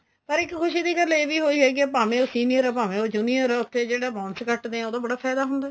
ਪਰ ਇੱਕ ਖੁਸ਼ੀ ਦੀ ਗੱਲ ਇਹ ਵੀ ਹੋਈ ਹੈਗੀ ਏ ਭਾਵੇ ਉਹ senior ਏ ਭਾਵੇ ਉਹ junior ਉੱਥੇ ਜਿਹੜਾ bonus ਕੱਟਦੇ ਏ ਉਦੋ ਬੜਾ ਫਾਇਦਾ ਹੁੰਦਾ